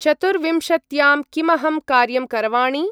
चतुर्विंशत्यां किमहं कार्यं करवाणि?